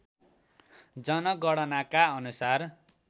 जनगणनाका अनुसार